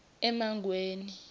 emangweni